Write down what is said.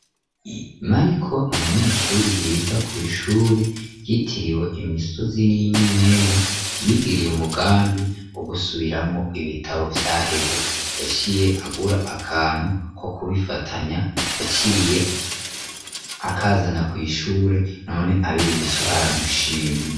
Mariko niumunyeshuri yiga kw'ishure yitiriwe imisozi n'inyenyeri yigiriye umugambi wo gusubiramwo ibitabo vyaheze yaciye agura akantu ko kubifatanya yaciye akazana kw'ishure none abigisha baramushimye.